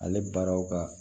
Ale baaraw ka